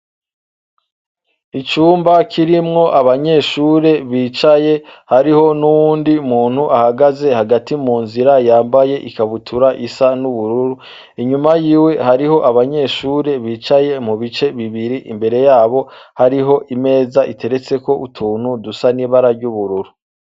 Icumab kirimwo abanyeshure bicaye hariho n'uwundi muntu ahagaze hagati mu nzira yambaye ikabutura isa n'ubururu inyuma yiwe hariho abanyeshure bicaye mu bice bibiri imbere yabo hari imeza iteretseko utuntu dusa n'ibara ry'ubururu.